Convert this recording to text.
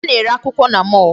A na-ere akwụkwọ na mall.